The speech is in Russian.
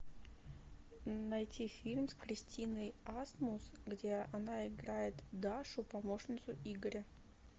найти фильм с кристиной асмус где она играет дашу помощницу игоря